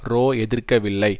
row எதிர்க்கவில்லை